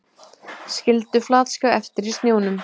Skildu flatskjá eftir í snjónum